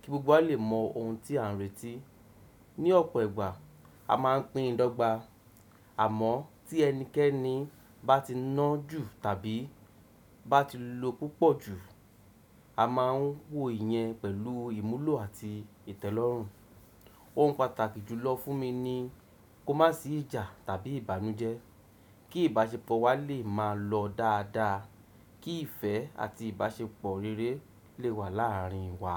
kí gbogbo wa lè mọ ohun tí à ń retí. Ni ọ̀pọ̀ ìgbà, a máa ń pín idọ́gba, àmọ́ tí ẹnikẹ́ni bá ti ná ju tàbí bá ti lo púpọ̀ ju, a máa ń wòye yẹn pẹ̀lú ìmúlò àti ìtẹ́lọ́rùn. Ohun pàtàkì jùlọ fún mi ni kó má sì ìjà tàbí ìbànújẹ́, kí ìbáṣepọ̀ wa lè máa lọ dáadáa, kí ìfẹ́ àti ìbáṣepọ̀ rere lè wà láàrin wa.